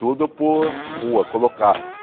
Tudo por rua, colocar.